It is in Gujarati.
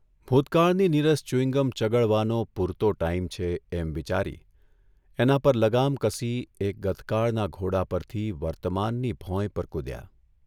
ભૂતકાળની નિરસ ચ્યુંગમ ચગળવાનો પૂરતો ટાઇમ છે એમ વિચારી એના પર લગામ કસી એ ગતકાળના ઘોડા પરથી વર્તમાનની ભોંય પર કૂધ્યા.